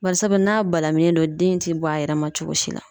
Barisabu n'a balaminen do den ti bɔ a yɛrɛ ma cogo si la.